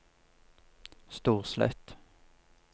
Storslett